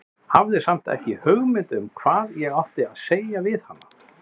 Hafði samt ekki hugmynd um hvað ég átti að segja við hana.